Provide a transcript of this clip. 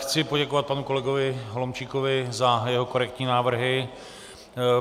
Chci poděkovat panu kolegovi Holomčíkovi za jeho korektní návrhy.